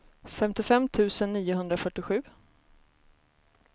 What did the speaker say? femtiofem tusen niohundrafyrtiosju